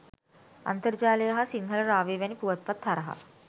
අන්තර්ජාලය හා සිංහල රාවය වැනි පුවත්පත් හරහා